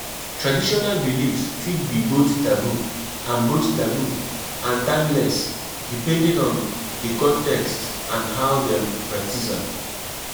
If you de go where you no know try ask questions about di place before you go